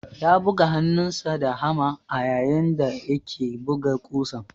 Ya buga hannunsa da hama ayayin da yake buga ƙusan.